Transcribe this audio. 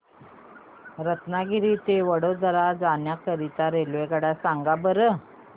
रत्नागिरी ते वडोदरा जाण्या करीता रेल्वेगाड्या सांगा बरं